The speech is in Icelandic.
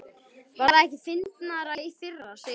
Var það ekki fyndnara í fyrra, segir Sirrý, varkár.